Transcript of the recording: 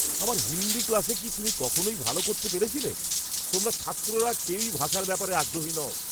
আমার হিন্দি ক্লাসে কি তুমি কখনোই ভালো করতে পেরেছিলে? তোমরা ছাত্ররা কেউই ভাষার ব্যাপারে আগ্রহী নও।